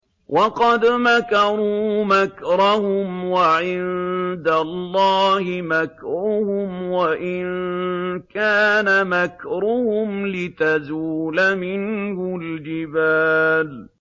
وَقَدْ مَكَرُوا مَكْرَهُمْ وَعِندَ اللَّهِ مَكْرُهُمْ وَإِن كَانَ مَكْرُهُمْ لِتَزُولَ مِنْهُ الْجِبَالُ